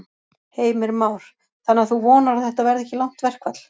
Heimir Már: Þannig að þú vonar að þetta verði ekki langt verkfall?